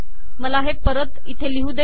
मला हे परत इथे लिहू दे